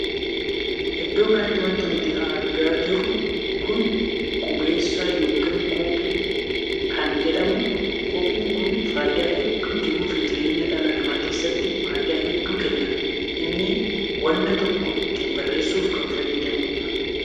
Iddoo kanatti wanti nuti argaa jirru kun qubeessaa ykn koppii kan jedhamuudha. Koppiin kun faayidaa hedduu jiruu fi jireenya dhala namaa keessatti faayidaa hedduu kenna. Inni wanna tokko ittiin barreessuuf kan fayyaduudha.